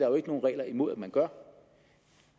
jo ikke nogen regler imod at man gør